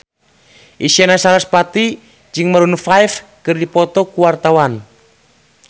Isyana Sarasvati jeung Maroon 5 keur dipoto ku wartawan